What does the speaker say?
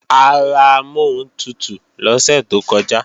A ra amọ́huntutù lọ́sẹ̀ tó kọjá